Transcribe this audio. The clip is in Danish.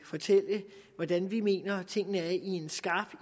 fortælle hvordan vi mener tingene er i en skarp